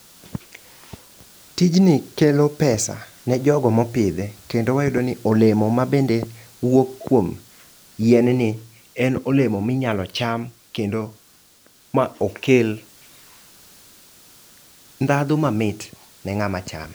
Tijni kelo pesa ne jogo mopidhe, kendo wayudo ni olemo ma be wuok kuom yien ni en olemo minyalo cham kendo ma okel ndhadhu mamit ne ng'ama chame.